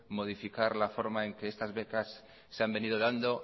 modificar la forma en la que estas becas se han venido dando